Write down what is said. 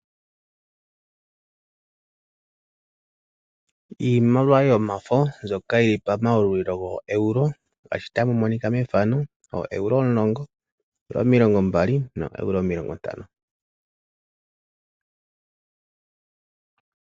Iimaliwa yomafo ndjoka yili pamayalulilo go EURO ngashi tamomonika methano o EURO omulongo, omilongo mbali no EURO omilongontano.